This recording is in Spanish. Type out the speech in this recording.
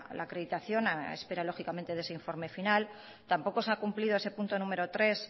la acreditación a espera lógicamente de ese informe final tampoco se ha cumplido ese punto número tres